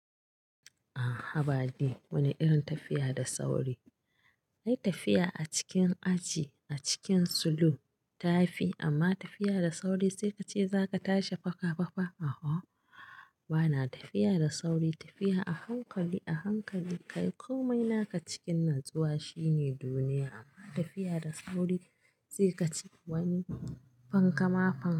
Aa haba dai wani irin tafiya da sauri? Ai tafiya a cikin aji a cikin sulo tafi. Amma tafiya da sauri sai kace zaka tashi faka faka. A'a bana tafiya da sauri, tafiya a hankali a hankali kayi komai naka cikin natsuwa shine duniya amma tafiya da sauri sai kace wani fankama fan.